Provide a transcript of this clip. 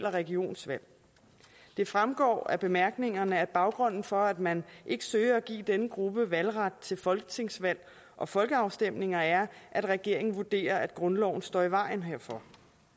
og regionsvalg det fremgår af bemærkningerne at baggrunden for at man ikke søger at give denne gruppe valgret til folketingsvalg og folkeafstemninger er at regeringen vurderer at grundloven står i vejen herfor